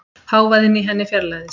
Hávaðinn í henni fjarlægðist.